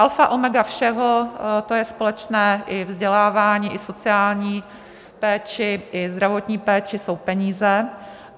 Alfa omega všeho - to je společné i vzdělávání, i sociální péči, i zdravotní péči - jsou peníze.